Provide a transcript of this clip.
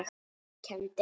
Kenndi hann